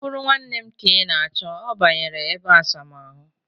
O bụrụ nwanne m ka ị na-achọ, ọ banyere ebeasamaahụ